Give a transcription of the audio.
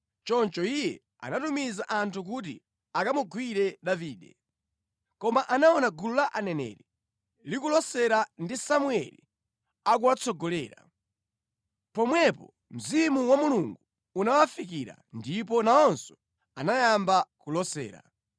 Choncho iye anatumiza anthu kuti akamugwire Davide. Koma anaona gulu la aneneri likulosera ndi Samueli akuwatsogolera. Pomwepo Mzimu wa Mulungu unawafikira ndipo nawonso anayamba kulosera.